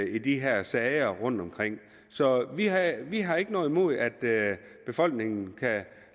i de her sager rundtomkring så vi har ikke noget imod at befolkningen